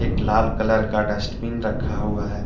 एक लाल कलर का डस्टबिन रखा हुआ है।